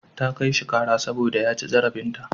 Ta kai shi ƙara saboda ya ci zarafinta.